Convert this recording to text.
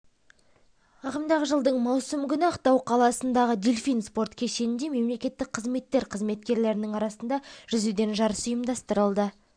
ағымдағы жылдың маусым күні ақтау қаласындағы дельфин спорт кешенінде мемлекеттік қызметтер қызметкерлерінің арасында жүзуден жарыс ұйымдастырылды